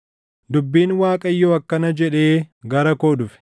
Dubbiin Waaqayyoo akkana jedhee gara koo dhufe: